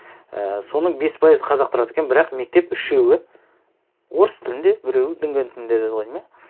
і соның бес пайызы қазақ тұрады екен бірақ мектеп үшеуі орыс тілінде біреуі дүнген тілінде деді ғой деймін иә